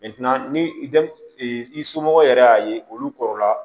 ni i somɔgɔw yɛrɛ y'a ye olu kɔrɔ la